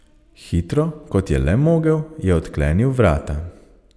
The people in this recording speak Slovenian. Hitro, kot je le mogel, je odklenil vrata.